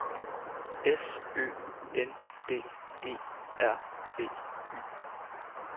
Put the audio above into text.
S Ø N D E R B Y